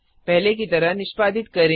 पहले की तरह निष्पादित करें